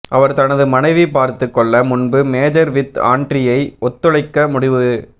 அவர் தனது மனைவி பார்த்துக்கொள்ள முன்பு மேஜர் வித் ஆண்ட்ரீயைப் ஒத்துழைக்க முடிவு